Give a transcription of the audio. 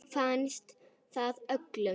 Þeim finnst það öllum.